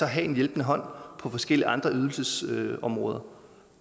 have en hjælpende hånd på forskellige andre ydelsesområder